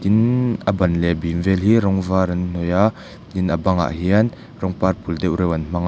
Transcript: tin a ban leh bîm vêl hi rawng vâr an hnawih a tin a bangah hian rawng purple deuh reuh an hmang a.